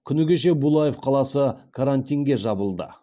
күні кеше булаев қаласы карантинге жабылды